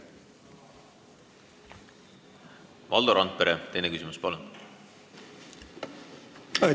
Valdo Randpere, teine küsimus, palun!